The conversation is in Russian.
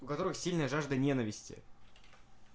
у которых сильная жажда ненависти